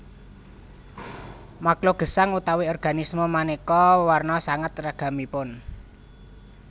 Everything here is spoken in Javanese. Makluk gesang utawi organisme manéka warna sanget ragamipun